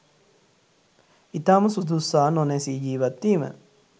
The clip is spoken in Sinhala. ඉතාම සුදුස්සා නොනැසී ජීවත්වීම